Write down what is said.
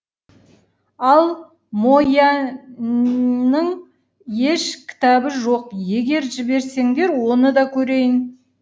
ал мо яньнің еш кітабы жоқ егер жіберсеңдер оны да көрейін